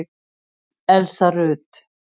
Elsa Rut.